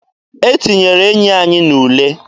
E tinyere enyi anyị n'ule.